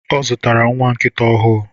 Ọ zụtara nwa nkịta ọhụụ